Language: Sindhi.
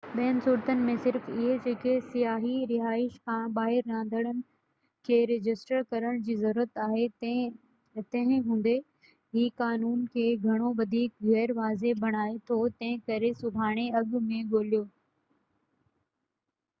ٻين صورتن ۾ صرف اهي جيڪي سياحتي رهائش کان ٻاهر رهندڙن کي رجسٽر ڪرڻ جي ضرورت آهي تنهن هوندي هي قانون کي گهڻو وڌيڪ غير واضح بڻائي ٿو تنهنڪري سڀاڻي اڳ ۾ ڳوليو